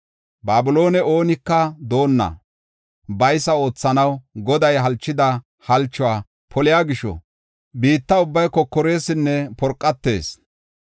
“Babilooney oonika doonna baysa oothanaw Goday halchida halchuwa poliya gisho, biitta ubbay kokoresinne porqatees.